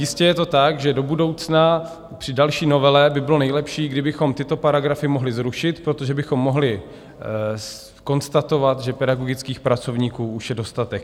Jistě je to tak, že do budoucna při další novele by bylo nejlepší, kdybychom tyto paragrafy mohli zrušit, protože bychom mohli konstatovat, že pedagogických pracovníků už je dostatek.